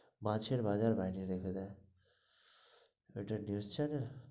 মাছের বাজার বানিয়ে রেখে দেয় এরা ওটা news channel?